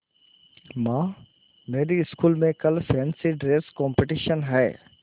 माँ मेरी स्कूल में कल फैंसी ड्रेस कॉम्पिटिशन है